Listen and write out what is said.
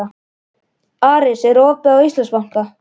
Aris, er opið í Íslandsbanka?